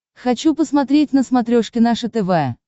хочу посмотреть на смотрешке наше тв